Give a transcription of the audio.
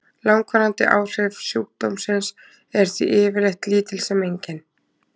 Langvarandi áhrif sjúkdómsins eru því yfirleitt lítil sem engin.